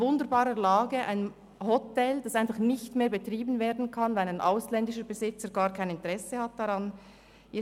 An wunderbarer Lage liegt ein Hotel, das nicht mehr betrieben werden kann, weil ein ausländischer Besitzer einfach kein Interesse daran hat.